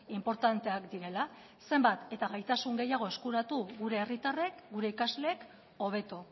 inportanteak direla zenbat eta gaitasun gehiago eskuratu gure herritarrek gure ikasleek hobeto